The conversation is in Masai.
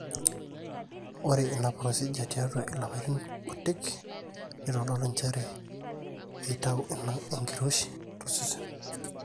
ore ina procedure tiatwa ilapaitin kuti neitodolua njere eitau ina enkiroshi tosesen